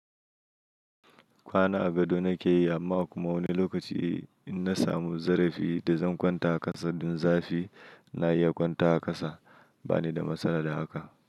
Kwana a gado nake yi amma kuma wani lokaci in na samu zarafi da zan kwanta a ƙasa don zafi, ina iya kwanta a ƙasa. Ba ni da matsala da haka.